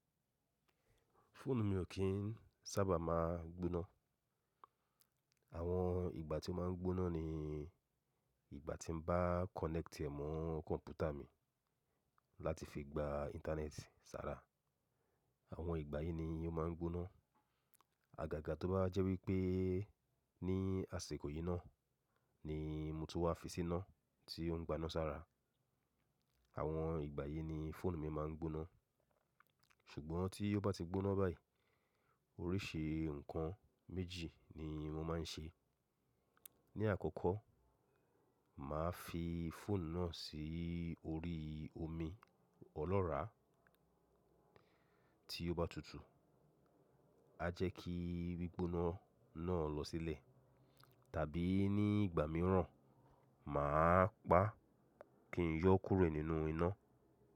Fóònù mi ò kí ń sábà máa gbóná. Àwọn ìgbà tí ó máa ń gbóná ni ìgbà tí mo bá connect e mọ́ kọ̀m̀pútà mi láti fi gba internet sára. Àwọn ìgbà yìí ni ó máa ń gbóná. Àgàgà tó bá jẹ́ wípé ní àsìkò yìí náà ni mutú wa fi sí iná tí ó ń gbaná sára. Àwọn ìgbà yìí ni fóònù mi máa ń gbóná. Ṣùgbọ́n tí ó bá ti gbóná báyìí, oríṣi ǹkan méjì ni mo máa ń ṣe. Ni àkọ́kọ́, màá fi fóònù náà sí orí omi ọlọ́ràá tí ó bá tutù, à jẹ́ kí gbígbóná náà lọ sílẹ̀. Tàbí ní ìgbà mìíràn, mà á pa kí n yọ́ kúrẹ̀ nínú iná.